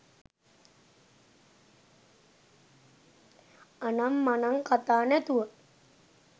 අනම් මනං කථා නැතුව